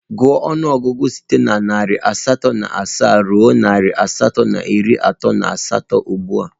Gụọ ọnụọgụgụ site na narị asatọ na asaa ruo narị asatọ na iri atọ na asatọ ugbu a!